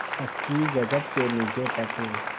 पक्की जगत के नीचे तक